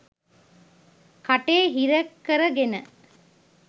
කටේ හිර කර ගෙන